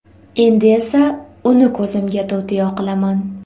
Endi esa uni ko‘zimga to‘tiyo qilaman.